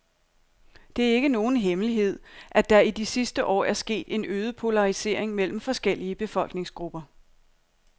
Det er ikke nogen hemmelighed, at der i de sidste år er sket en øget polarisering mellem forskellige befolkningsgrupper.